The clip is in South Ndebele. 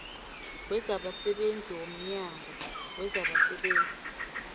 wezabasebenzi womnyango wezabasebenzi